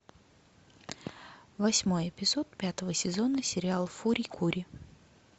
восьмой эпизод пятого сезона сериал фури кури